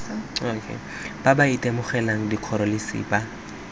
ba ba itemogelang dikgoreletsi ba